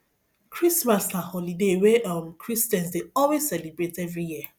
christmas na holiday wey um christians dey always celebrate every year